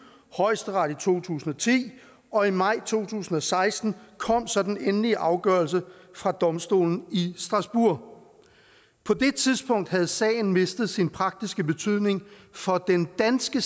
højesteret i to tusind og ti og i maj to tusind og seksten kom så den endelige afgørelse fra domstolen i strasbourg på det tidspunkt havde sagen mistet sin praktiske betydning for den danske